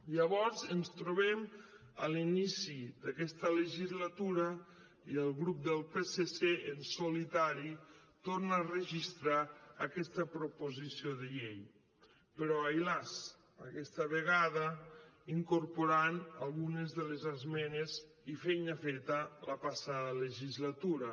llavors ens trobem a l’inici d’aquesta legislatura i el grup del psc en solitari torna a registrar aquesta proposició de llei però ai las aquesta vegada incorporant algunes de les esmenes i feina feta la passada legislatura